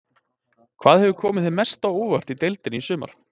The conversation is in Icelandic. Hvað hefur komið þér mest á óvart í deildinni í sumar?